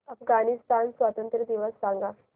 अफगाणिस्तान स्वातंत्र्य दिवस सांगा